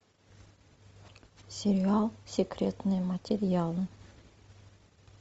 сериал секретные материалы